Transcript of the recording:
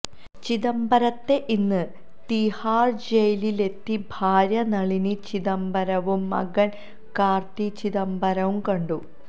ചിദംബരത്തെ ഇന്ന് തീഹാര് ജയിലിലെത്തി ഭാര്യ നളിനി ചിദംബരവും മകന് കാര്ത്തി ചിദംബരവും കണ്ടു